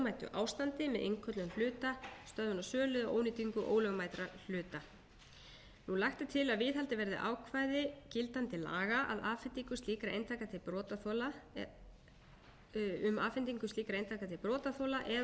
ástandi með innköllun hluta stöðvun á sölu og ónýtingu ólögmætra hluta lagt er til að viðhaldið verði ákvæði gildandi laga um afhendingu slíkra eintaka til brotaþola eða að þau séu gerð